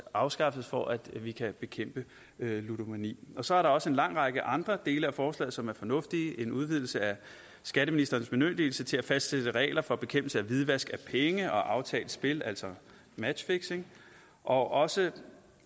afskaffes for at vi kan bekæmpe ludomani så er der også en lang række andre dele af forslaget som er fornuftige en udvidelse af skatteministerens bemyndigelse til at fastsætte regler for bekæmpelse af hvidvask af penge og aftalt spil altså matchfixing og også